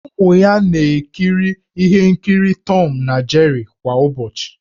Ụmụ ya na-ekiri ihe nkiri Tọm na Jeri kwa ụbọchị.